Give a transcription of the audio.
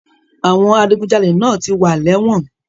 Àwọn adigunjalè náà ti wà lẹ́wọ̀n.